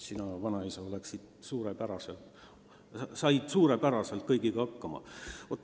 Sina, vanaisa, said ju suurepäraselt kõigiga hakkama!